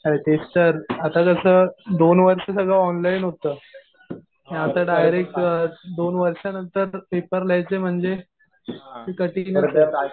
अरे तेच तर, आता कसं दोन वर्ष सगळं ऑनलाईन होतं. आता डायरेक्ट दोन वर्षानंतर पेपर लिहायचे म्हणजे ते कठीण